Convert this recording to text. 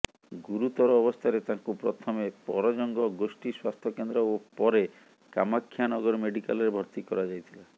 ଗୁରୁତର ଅବସ୍ଥାରେ ତାଙ୍କୁ ପ୍ରଥମେ ପରଜଙ୍ଗ ଗୋଷ୍ଠୀ ସ୍ୱାସ୍ଥ୍ୟ କେନ୍ଦ୍ର ଓ ପରେ କାମାକ୍ଷାନଗର ମେଡ଼ିକାଲରେ ଭର୍ତ୍ତି କରାଯାଇଥିଲା